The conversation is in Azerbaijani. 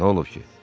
N'olub ki?